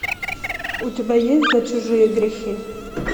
у тебя есть за чужие грехи